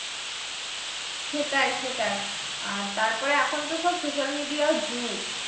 সেটাই সেটাই আর তারপরে এখন তো সব social media র যুগ।